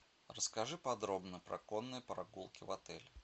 расскажи подробно про конные прогулки в отеле